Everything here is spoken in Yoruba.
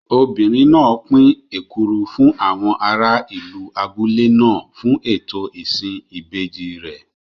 Obìnrin náà pín èkuru fún àwọn ará ìlú abúlé náà fún ètò ìsìn ìbejì rẹ̀.